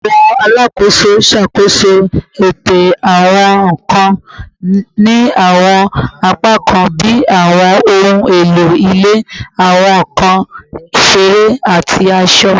Awọn alakoso ṣakoso eto awọn nkan ni awọn apakan bi awọn ohun elo ile, awọn nkan isere, ati aṣọ